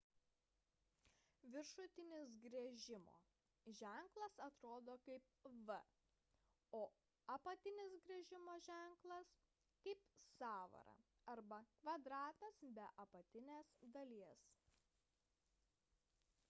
viršutinis griežimo ženklas atrodo kaip v o apatinis griežimo ženklas – kaip sąvara arba kvadratas be apatinės dalies